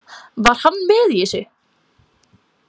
Var hann með í þessu?